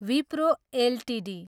Wipro Ltd